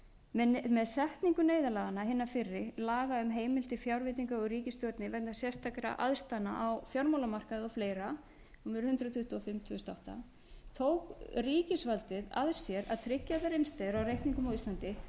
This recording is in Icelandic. með setningu neyðarlaganna hinni fyrri laga um heimild til fjárveitingar úr ríkissjóði vegna sérstakra aðstæðna á fjármálamarkaði og fleira númer hundrað tuttugu og fimm tvö þúsund og átta tók ríkisvaldið að sér að tryggja allar innstæður á reikningum á íslandi þótt